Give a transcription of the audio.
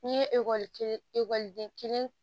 N'i ye ekɔli kelen ekɔliden kelen